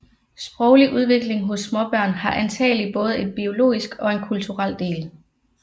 Sproglig udvikling hos småbørn har antagelig både en biologisk og en kulturel del